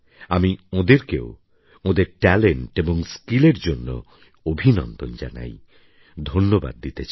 আমি ওঁদেরকেও ওঁদের ট্যালেন্ট এবং স্কিলের জন্য অভিনন্দন জানাই ধন্যবাদ দিতে চাই